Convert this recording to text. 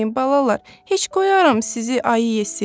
Qorxmayın balalar, heç qoyaram sizi ayı yesin?